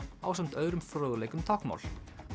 ásamt öðrum fróðleik um táknmál